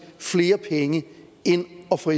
flere penge end at få